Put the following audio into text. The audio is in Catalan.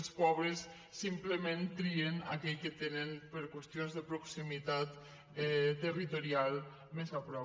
els pobres simplement trien aquell que tenen per qüestions de proximitat territorial més a prop